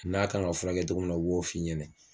N'a kan ka furakɛ togo min na o b'o f'i ɲɛnɛ